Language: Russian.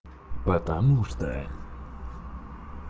потому что